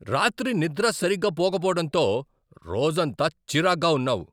రాత్రి నిద్ర సరిగా పోకపోవడంతో రోజంతా చిరాగ్గా ఉన్నావు.